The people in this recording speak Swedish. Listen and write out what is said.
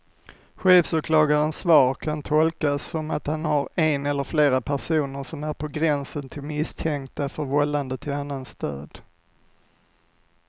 Chefsåklagarens svar kan tolkas som att han har en eller flera personer som är på gränsen till misstänkta för vållande till annans död.